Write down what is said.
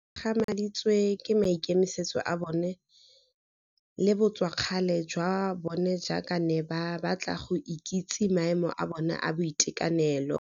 Ke gagamaditswe ke maikemisetso a bona le botswakgale jwa bona jaaka ba ne ba batla go ikitse maemo a bona a boitekanelo.